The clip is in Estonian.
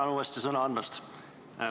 Tänan uuesti sõna andmast!